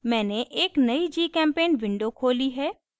मैंने एक नयी gchempaint window खोली है